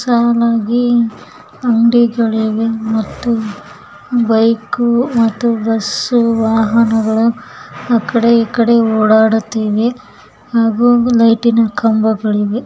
ಸಾಲಾಗಿ ಅಂಗಡಿಗಳಿವೆ ಮತ್ತು ಬೈಕು ಮತ್ತು ಬಸ್ಸು ವಾಹನಗಳು ಇಕ್ದೆ ಒಕ್ದೆ ಓಡಾಡುತ್ತಿವೆ ಹಾಗು ಲೈಟಿ ನ ಖಂಬಗಳಿವೆ.